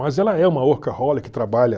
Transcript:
Mas ela é uma workaholic trabalha